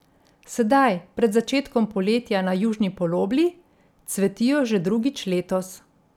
Sedaj, pred začetkom poletja na južni polobli, cvetijo že drugič letos.